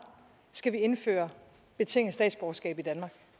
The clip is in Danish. skal vi indføre betinget statsborgerskab i danmark